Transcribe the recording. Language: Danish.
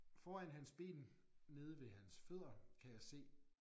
Foran hans ben nede ved hans fødder kan jeg se